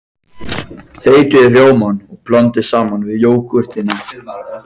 Þeytið rjómann og blandið saman við jógúrtina.